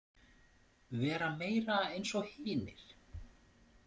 Vera meira eins og hinir.